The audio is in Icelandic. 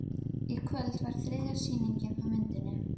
Í kvöld var þriðja sýning á myndinni